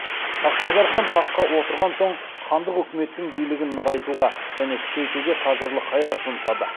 хақназар хан таққа отырған соң хандық үкіметтің билігін нығайтуға және күшейтуге қажырлы қайрат жұмсады